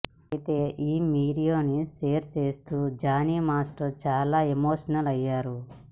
అయితే ఈ వీడియోనీ షేర్ చేస్తూ జానీ మాస్టర్ చాలా ఎమోషనల్ అయ్యారు